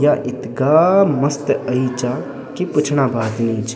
या इत्गा मस्त अयीं चा की पूछना बात नीच।